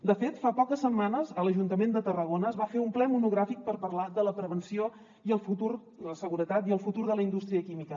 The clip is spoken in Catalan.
de fet fa poques setmanes a l’ajuntament de tarragona es va fer un ple monogràfic per parlar de la prevenció la seguretat i el futur de la indústria química